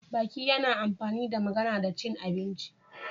Baki yana amfani da magana da cin abinci